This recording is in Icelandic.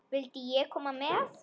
Vildi ég koma með?